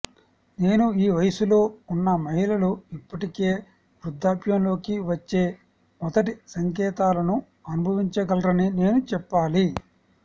నేను ఈ వయస్సులో ఉన్న మహిళలు ఇప్పటికే వృద్ధాప్యంలోకి వచ్చే మొదటి సంకేతాలను అనుభవించగలరని నేను చెప్పాలి